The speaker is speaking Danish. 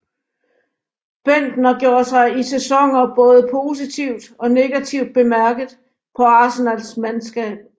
Bendtner gjorde sig i sæsonen både positivt og negativt bemærket på Arsenals mandskab